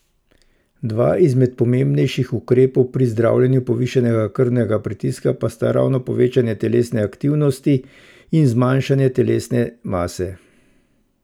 Dva izmed pomembnejših ukrepov pri zdravljenju povišanega krvnega pritiska pa sta ravno povečanje telesne aktivnosti in zmanjšanje telesne mase.